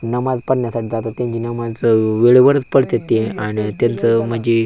नमाज पडण्यासाठी जातात त्यांची माणस वेळे वरच पडतेत ते आणि त्यांच म्हंजी--